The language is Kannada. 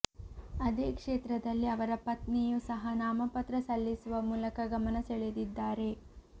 ಅದೇ ಕ್ಷೇತ್ರದಲ್ಲಿ ಅವರ ಪತ್ನಿಯೂ ಸಹ ನಾಮಪತ್ರ ಸಲ್ಲಿಸುವ ಮೂಲಕ ಗಮನ ಸೆಳೆದಿದ್ದಾರೆ